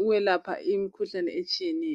ukwelapha imkhuhlane etshiyeneyo.